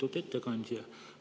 Lugupeetud ettekandja!